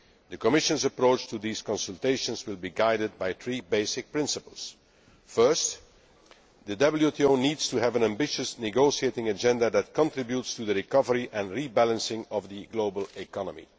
The Commission's approach to these consultations will be guided by three basic principles first, the WTO needs to have an ambitious negotiating agenda that contributes to the recovery and rebalancing of the global economy